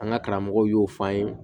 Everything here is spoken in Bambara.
An ka karamɔgɔw y'o fɔ an ye